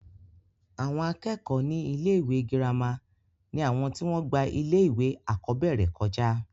àwọn akẹ́kọ̀ọ́ ní ilé ìwé girama ni àwọn tí wọ́n gba ilé ìwé àkọ́bẹ̀rẹ̀ kọjá